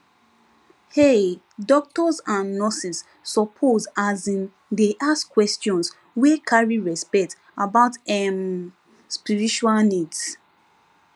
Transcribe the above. um doctors and nurses suppose asin dey ask questions wey carry respect about [um[ spiritual needs